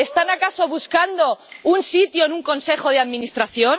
¿Están, acaso, buscando un sitio en un consejo de administración?